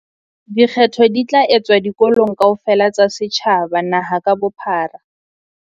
Dikgetho di tla etswa dikolong kaofela tsa setjhaba naha ka bophara.